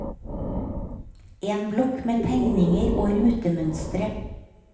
En blokk med tegninger og rutemønstre.